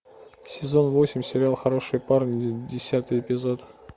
сезон восемь сериал хорошие парни десятый эпизод